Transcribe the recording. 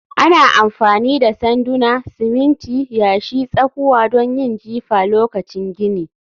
Ana amfani da sanduna, siminti, yashi, tsakuwa don yin jifa lokacin gini